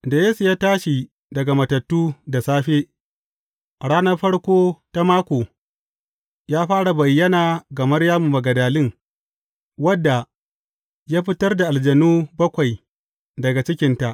Da Yesu ya tashi daga matattu da safe, a ranar farko ta mako, ya fara bayyana ga Maryamu Magdalin, wadda ya fitar da aljanu bakwai daga cikinta.